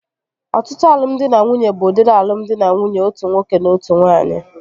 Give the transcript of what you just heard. Ọtụtụ alụmdi na nwunye bụ udiri alụmdi na nwunye otu nwoke na otu nwaanyị